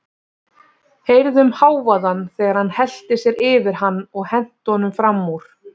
Heyrðum hávaðann þegar hann hellti sér yfir hann og henti honum fram úr.